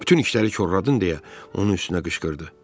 Bütün işləri korladın deyə onun üstünə qışqırdı.